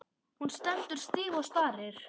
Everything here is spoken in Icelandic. Hún stendur stíf og starir.